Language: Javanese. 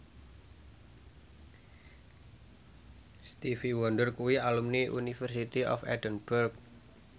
Stevie Wonder kuwi alumni University of Edinburgh